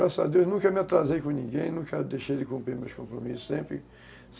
Graças a Deus, nunca me atrasei com ninguém, nunca deixei de cumprir meus compromissos, sempre